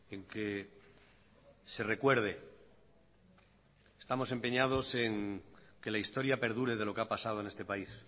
en que se recuerde estamos empeñados en que la historia perdure de lo que ha pasado en este país